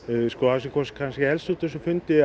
það sem kom helst út úr þessum fundi